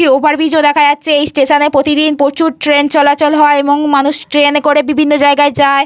একটি over bridge ও দেখা যাচ্ছে। এই স্টেশনে প্রতিদিন প্রচুর ট্রেন চলাচল হয়। এবং মানুষ ট্রেনে করে বিভিন্ন জায়গায় যায়।